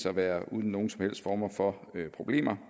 at være uden nogen som helst former for problemer